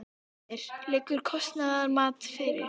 Heimir: Liggur kostnaðarmat fyrir?